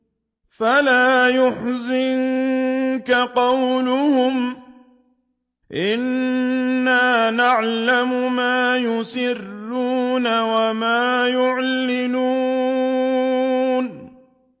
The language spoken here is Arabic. فَلَا يَحْزُنكَ قَوْلُهُمْ ۘ إِنَّا نَعْلَمُ مَا يُسِرُّونَ وَمَا يُعْلِنُونَ